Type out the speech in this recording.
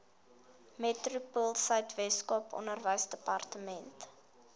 metropoolsuid weskaap onderwysdepartement